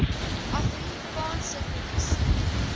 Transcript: afri kaanse polisie